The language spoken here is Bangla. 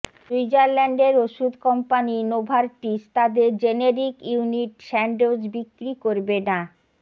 সুইজারল্যান্ডের ওষুধ কম্পানি নোভার্টিস তাদের জেনেরিক ইউনিট স্যান্ডোজ বিক্রি করবে না